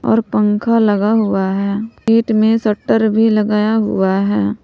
और पंख लगा हुआ है गेट में शटर भी लगा हुआ है।